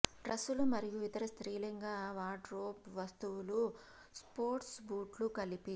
డ్రస్సులు మరియు ఇతర స్త్రీలింగ వార్డ్రోబ్ వస్తువులు స్పోర్ట్స్ బూట్లు కలిపి